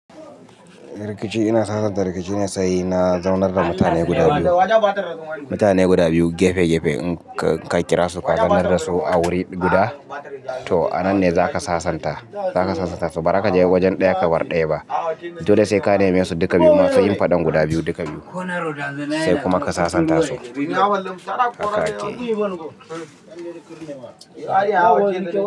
Rikici ina sasanta rikici ne, say na zaunar da mutane guda biyu. Mutane guda biyu gefe gefe in ka kira su ka zaunar da su a wuri guda, to a nan ne za ka sasanta. Zaka sasanta su ba za ka je wajen ɗaya ka barr ɗaya ba. Dole sai ka neme su duka biyu ma su yi faɗan guda biyu duka biyu sai kuma ka sasanta su.